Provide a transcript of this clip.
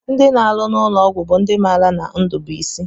Ndị na-arụ n'ụlọọgwụ bụ ndị maara na ndụ bụ isi